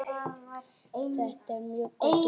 Þetta er mjög gott úrval.